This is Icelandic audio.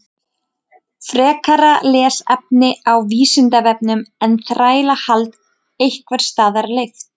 Frekara lesefni á Vísindavefnum Er þrælahald einhvers staðar leyft?